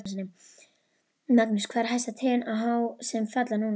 Magnús: Hvað eru hæstu trén há sem falla núna?